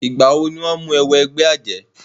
Ìgbà wọ ni wọ́n mú e wọ ẹgbẹ́ àjẹ́?